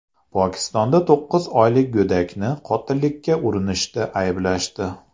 Pokistonda to‘qqiz oylik go‘dakni qotillikka urinishda ayblashdi.